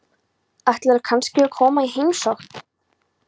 Ætlarðu kannski að koma í heimsókn?